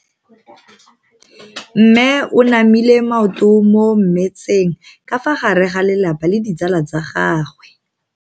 Mme o namile maoto mo mmetseng ka fa gare ga lelapa le ditsala tsa gagwe.